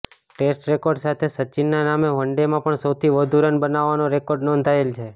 test record સાથે સચિનના નામે વનડેમાં પણ સૌથી વધુ રન બનાવવાનો રેકોર્ડ નોંધાયેલ છે